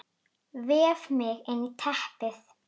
Vef mig inn í teppið.